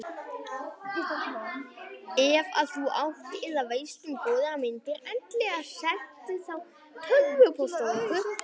Ef að þú átt eða veist um góðar myndir endilega sendu þá tölvupóst á okkur.